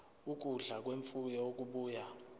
ukudla kwemfuyo okubuya